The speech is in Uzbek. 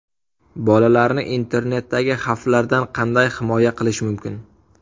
Bolalarni internetdagi xavflardan qanday himoya qilish mumkin?.